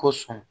Ko sɔn